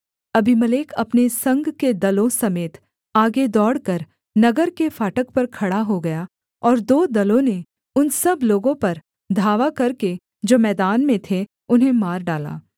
Abimelech अपने संग के दलों समेत आगे दौड़कर नगर के फाटक पर खड़ा हो गया और दो दलों ने उन सब लोगों पर धावा करके जो मैदान में थे उन्हें मार डाला